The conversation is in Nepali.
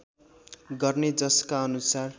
गर्ने जसका अनुसार